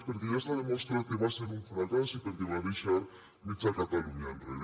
perquè ja s’ha demostrat que va ser un fracàs i perquè va deixar mitja catalunya enrere